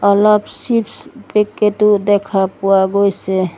অলপ chips packet ও দেখা পোৱা গৈছে।